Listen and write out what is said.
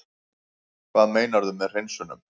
Hvað meinarðu með hreinsunum?